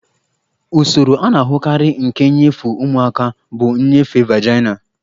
Usoro a na-ahụkarị nke nnyefe ụmụaka bụ nnyefe vaginal